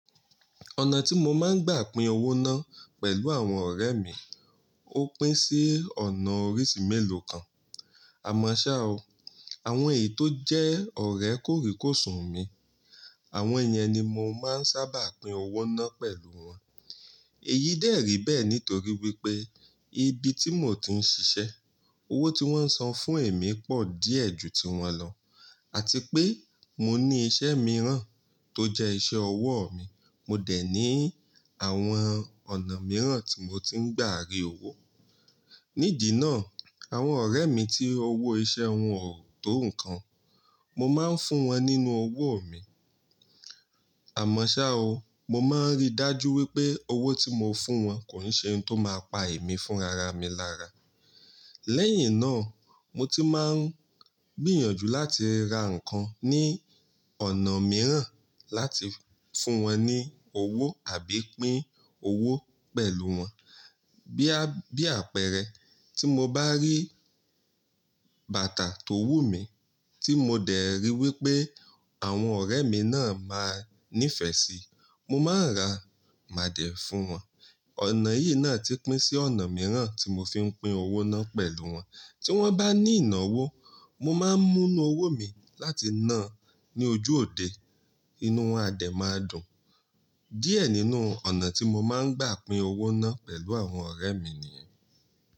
Ọ̀nà tí mo máa ń gbà pin owó náà pẹ̀lú àwọn ọ̀rẹ́ mi, ó pín sí ọ̀nà oríṣi mélòó kan. Àmọ́ ṣá o, àwọn èyí tó jẹ́ ọ̀rẹ́ kòríkòsùn mi, àwọn yẹn ni mo máa ń sábà pin owó náà pẹ̀lú wọn. Èyí dẹ̀ rí bẹ́ẹ̀ nítorí wípé ibi tí mò ń tí ń ṣiṣẹ́, owó tí wón ń san fún èmi pọ̀ díẹ̀ ju tiwọn lọ àti pé mo ní iṣẹ́ mìíràn tó jẹ́ iṣẹ́ ọwọ́ mi, mo dẹ̀ ní àwọn ọ̀nà mìíràn tí mò ń tí ń gbà rì owó. Nídì náà, àwọn ọ̀rẹ́ mi tí owó iṣẹ́ wọn ò tó nǹkan, mo máa ń fún wọn nínú owó mi. Àmọ́ ṣá o, mo máa ń rí dájú wípé owó tí mo fún wọn kò n ṣe ohun tó máa pa èmi fún rara mi lára. Lẹ́yìn náà, mo ti máa ń gbìyànjú láti ra nǹkan ní ọ̀nà mìíràn láti fún wọn ní owó àbí pin owó pẹ̀lú wọn. Bí àpẹẹrẹ, tí mo bá rí bàtà tó wù mí tí mo dẹ̀ rí wípé àwọn ọ̀rẹ́ mi náà máa nífẹ̀ẹ́ síi, mo máa n ra mà dè fún wọn. Ọ̀nà yìí náà ti pín sí ọ̀nà mìíràn tí mo fi ń pin owó náà pẹ̀lú wọn. Tí wọ́n bá ní ìnáwó, mo máa ń mú inú owó mi láti náà ní ojú òde inú won adé máa dùn. Díẹ̀ nínú ọ̀nà tí mo máa ń gbà pin owó náà pẹ̀lú àwọn ọ̀rẹ́ mi nìyẹn.